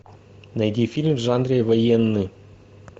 найди фильм в жанре военный